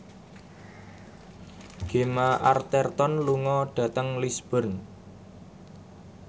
Gemma Arterton lunga dhateng Lisburn